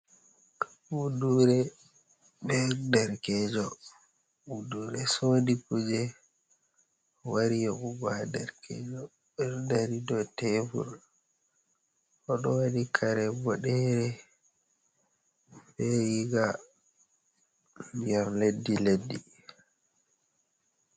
Buduure be derekeejo, buduure soodi kuje, wari yoɓugo haa derekeejo, ɓe ɗo dari dow teebur, o ɗo waɗi kare boɗere, be riiga ndiyam leddi leddi.